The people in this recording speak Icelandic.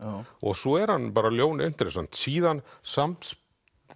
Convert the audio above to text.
svo er hann ljón interessant síðan samspil